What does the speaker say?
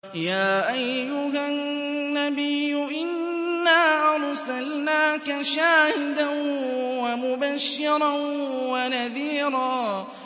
يَا أَيُّهَا النَّبِيُّ إِنَّا أَرْسَلْنَاكَ شَاهِدًا وَمُبَشِّرًا وَنَذِيرًا